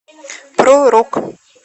про рок